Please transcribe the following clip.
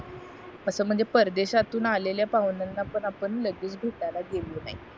असं म्हणजे परदेशात तुन आलेल्या पाहुण्याना पण आपण लगेच भेटायला गेलो नाही